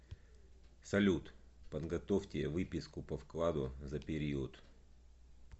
салют подготовьте выписку по вкладу за период